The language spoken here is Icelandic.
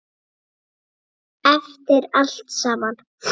Eftir allt saman.